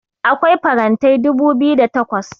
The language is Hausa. akwai farantai dubu biyu da takwas